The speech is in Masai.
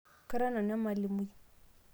kara nanu emalimui